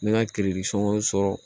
N bɛ n ka sɔrɔ